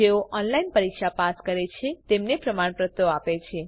જેઓ ઓનલાઇન પરીક્ષા પાસ કરે છે તેમને પ્રમાણપત્ર આપે છે